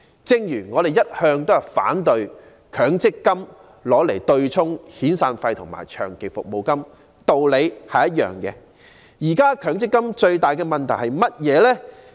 正如我們一向也反對強積金與遣散費及長期服務金對沖的原因一樣，現時強積金最大的問題是甚麼？